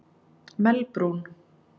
Melbrún